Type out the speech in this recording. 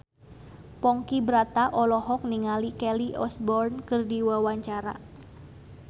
Ponky Brata olohok ningali Kelly Osbourne keur diwawancara